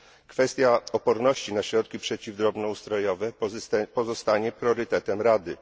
Kwestia oporności na środki przeciw drobnoustrojowe pozostanie priorytetem Rady.